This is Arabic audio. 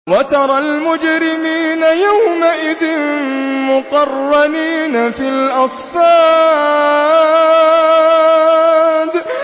وَتَرَى الْمُجْرِمِينَ يَوْمَئِذٍ مُّقَرَّنِينَ فِي الْأَصْفَادِ